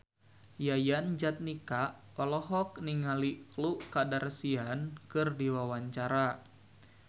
Yayan Jatnika olohok ningali Khloe Kardashian keur diwawancara